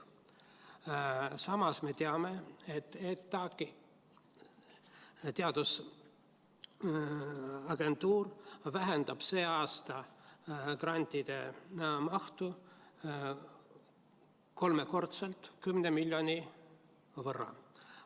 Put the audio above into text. Samas me teame, et ETAg, teadusagentuur, vähendab see aasta grantide mahtu kolmekordselt, 10 miljoni võrra.